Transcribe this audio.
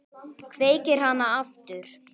Kveikir hana aftur.